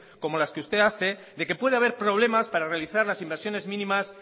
como las que usted hace de que puede haber problemas para realizar las inversiones mínimas